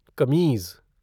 कमीज़